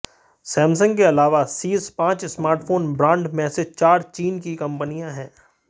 Samsung के अलावा शीर्ष पांच स्मार्टफोन ब्रांड में से चार चीन की कंपनियां हैं